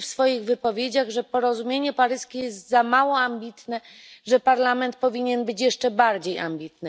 w swoich wypowiedziach, że porozumienie paryskie jest za mało ambitne, że Parlament powinien być jeszcze bardziej ambitny.